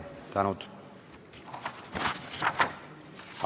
Palju tänu!